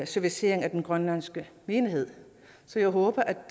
servicering af den grønlandske menighed så jeg håber